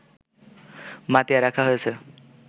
মতিয়া রাখা হয়েছে